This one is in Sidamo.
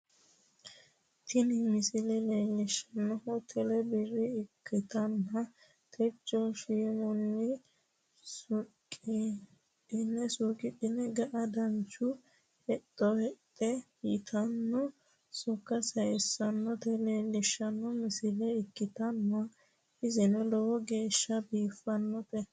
tini misile leelshannohu tele birra ikkitanna, techo shiimunni suuqidhi'ne ga'a dancha hexxo heexxe yitanno sokka sayissannota leellishshanno misile ikkitanna iseno lowo geeshsha biifannote.